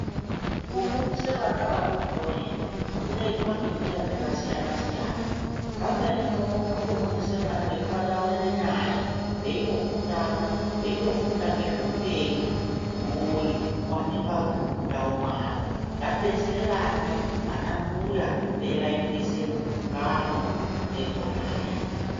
Kufundise vana vadodori kungeitwa ngenzira dzakasiyana siyana pamweni munokono kutofundise vana ngekuvataurire nyaya veitoprutana veitofunda ngezvehupenyu hunowanikwa mundau mavo ngatibetsere vana anambuya vevaitire nengano vadekonaya